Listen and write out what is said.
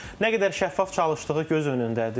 Nə qədər şəffaf çalışdığı göz önündədir.